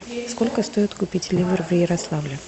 сколько стоит купить ливр в ярославле